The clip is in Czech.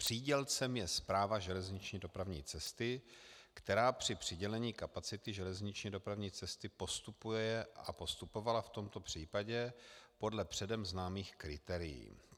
Přídělcem je Správa železniční dopravní cesty, která při přidělení kapacity železniční dopravní cesty postupuje a postupovala v tomto případě podle předem známých kritérií.